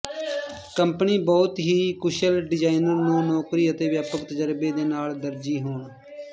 company ਬਹੁਤ ਹੀ ਕੁਸ਼ਲ ਡਿਜ਼ਾਈਨਰ ਨੂੰ ਨੌਕਰੀ ਅਤੇ ਵਿਆਪਕ ਤਜਰਬੇ ਦੇ ਨਾਲ ਦਰਜੀ ਹੋਣੇ